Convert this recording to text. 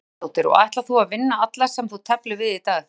Erla Hlynsdóttir: Og ætlar þú að vinna alla sem þú teflir við í dag?